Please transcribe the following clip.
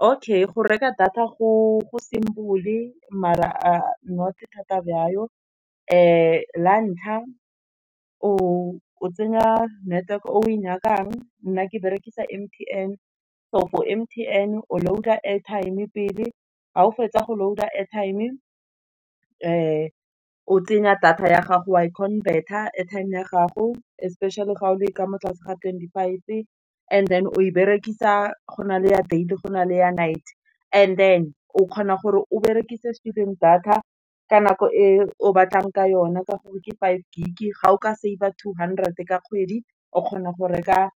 Okay, go reka data go simple maar-a not thata yalo, lantlha o tsenya network-e o e nyakang nna ke berekisa M_T_N, so for M_T_N o loader-a airtime pele ga o fetsa go loader-a airtime o tsenya data ya gago wa converter-a, airtime ya gago, especially ga o le ka mo tlase ga twenty- five, and then o e berekisa, gona le ya day gona le ya night, and then o kgona gore o berekise student data ka nako e o batlang ka yone ka gore ke five gig e ga o ka save-a two hundred ka kgwedi o kgona go reka